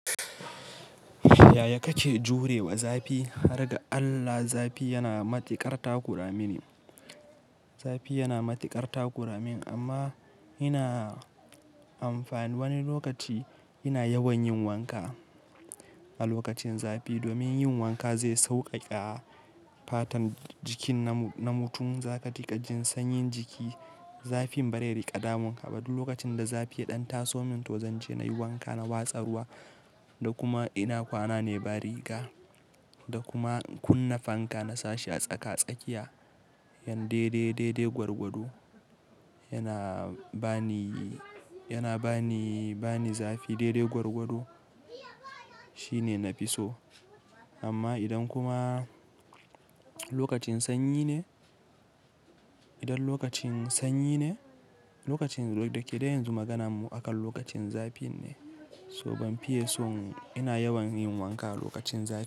Yaya kake jurewa zafi? Har ga Allah zafi yana matuƙar takura mini. Zafi yana matuƙar takura min amma ina amfani wani lokaci ina yawan yin wanka a lokacin zafi domin yin wanka zai sauƙaƙa fatan jikin na mutum za ka riƙa jin sanyin jiki. Zafin ba zai riƙa damun ka ba. Duk lokacin da zafi ya ɗan taso min to zanje na yi wanka na watsa ruwa da kuma ina kwana ne ba riga da kuma kunna fanka na sashi a tsaka-tsakiya. Yan daidai, daidai gwargwado yana bani, yana bani, bani zafi. Daidai gwargwado shine na fi so. Amma idan kuma lokacin sanyi ne, idan lokacin sanyi ne, lokacin da ke dai yanzu maganarmu akan lokacin zafi ne. So banfiye son ina yawan yin wanka lokacin zafi.